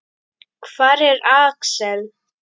Hvar er Axel?